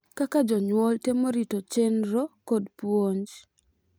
Kaka jonyuol temo rito chenro kod puonj.